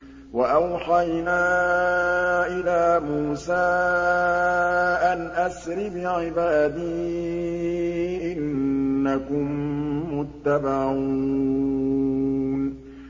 ۞ وَأَوْحَيْنَا إِلَىٰ مُوسَىٰ أَنْ أَسْرِ بِعِبَادِي إِنَّكُم مُّتَّبَعُونَ